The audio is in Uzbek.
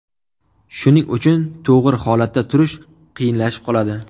Shuning uchun to‘g‘ri holatda turish qiyinlashib qoladi.